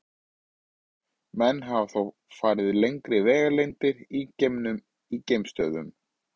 Menn hafa þó farið lengri vegalengdir í geimnum í geimstöðvum.